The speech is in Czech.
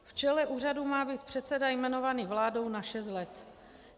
V čele úřadu má být předseda jmenovaný vládou na šest let.